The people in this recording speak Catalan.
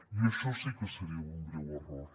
i això sí que seria un greu error